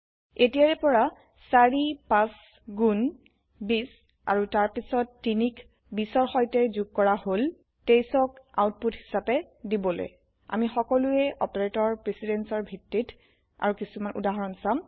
এতিয়াৰে পৰা চাৰি পাচ গুণ বিছ আৰু তাৰপিছত তিনিক বিছৰ সৈতে যোগ কৰা হল ২৩ক আউটপুট হিচাপে দিবলে আমি সকলোয়ে অপাৰেতৰ প্ৰিচিডেন্স ৰ ভিত্তিত আৰু কিছুমান উদাহৰন চাম